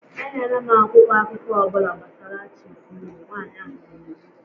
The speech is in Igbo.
Enyela m akwụkwọ akụkọ ọ bụla gbasara Chif Imo! Nwanyị ahụ nyere iwu